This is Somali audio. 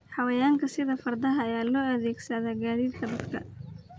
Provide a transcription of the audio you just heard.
Xayawaanka sida fardaha ayaa loo adeegsadaa gaadiidka dadka.